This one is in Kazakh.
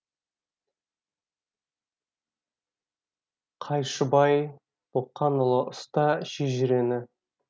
қайшыбай боқанұлы ұста шежірені